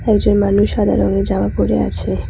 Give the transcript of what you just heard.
একজন মানুষ সাদা রঙের জামা পরে আছে।